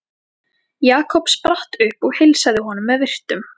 Jakob spratt upp og heilsaði honum með virktum.